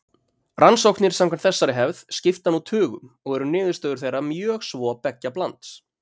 Rannsóknir samkvæmt þessari hefð skipta nú tugum og eru niðurstöður þeirra mjög svo beggja blands.